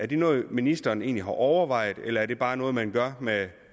det noget ministeren egentlig har overvejet eller er det bare noget man gør med